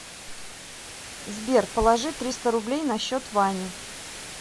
сбер положи триста рублей на счет вани